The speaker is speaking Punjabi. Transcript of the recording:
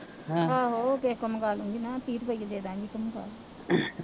ਆਹੋ ਕਿਸੇ ਤੋਂ ਮੰਗਵਾ ਲੂ ਗੀ ਨਾ ਤੀਹ ਰੁਪਈਏ ਦੇ ਦਾਂ ਗੀ